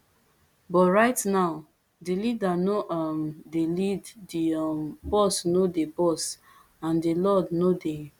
but right now di leader no um dey lead di um boss no dey boss and di lord no dey